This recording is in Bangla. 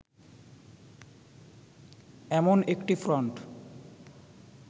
এমন একটি ফ্রন্ট